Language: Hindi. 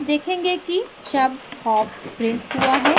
अब देखेंगे कि शब्द hops प्रिंट हुआ है